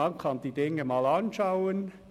Man kann den Sachverhalt einmal anschauen;